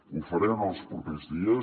ho faré en els propers dies